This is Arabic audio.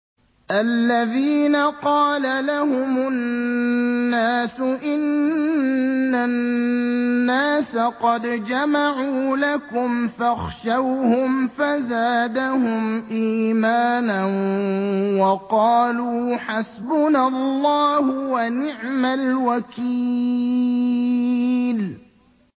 الَّذِينَ قَالَ لَهُمُ النَّاسُ إِنَّ النَّاسَ قَدْ جَمَعُوا لَكُمْ فَاخْشَوْهُمْ فَزَادَهُمْ إِيمَانًا وَقَالُوا حَسْبُنَا اللَّهُ وَنِعْمَ الْوَكِيلُ